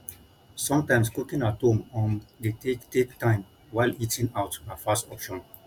sometimes cooking at home um de take take time while eating out na fast option